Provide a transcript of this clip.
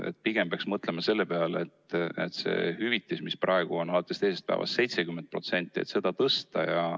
Et pigem peaks mõtlema selle peale, et hüvitist, mis praegu on alates teisest päevast 70%, tõsta.